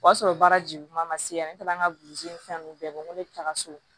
O y'a sɔrɔ baara juguman ma se yan ne taara n ka ni fɛn ninnu bɛɛ bɔ n ko ne bɛ taga so